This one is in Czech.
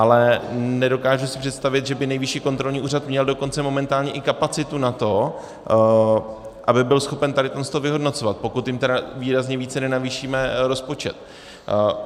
Ale nedokážu si představit, že by Nejvyšší kontrolní úřad měl dokonce momentálně i kapacitu na to, aby byl schopen tady tohle to vyhodnocovat, pokud jim tedy výrazně více nenavýšíme rozpočet.